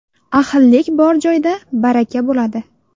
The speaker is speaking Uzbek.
Ahillik bor joyda baraka bo‘ladi.